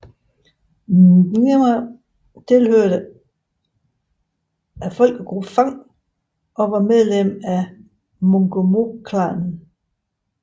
Nguema tilhørte folkegruppen fang og var medlem af mongomoklanen